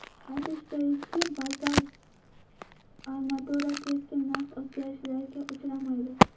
Aytish joizki, bazalt armatura keskin narx o‘zgarishlariga uchramaydi.